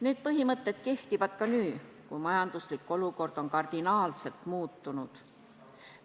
Need põhimõtted kehtivad ka nüüd, kui majanduslik olukord on kardinaalselt muutunud.